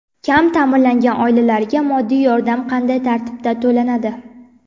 Kam ta’minlangan oilalarga moddiy yordam qanday tartibda to‘lanadi?.